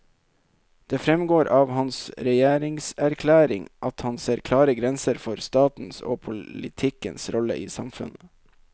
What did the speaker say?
Det fremgår av hans regjeringserklæring at han ser klare grenser for statens og politikkens rolle i samfunnet.